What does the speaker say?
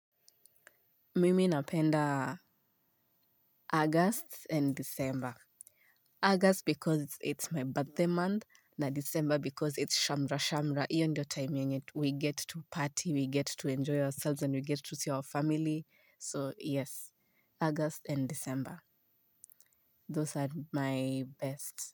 Mimi napenda August and December, August because it's my birthday month, na December because it's shamrashamra, hiyo ndiyo time yenye we get to party, we get to enjoy ourselves and we get to see our family, so yes, August and December, those are my best.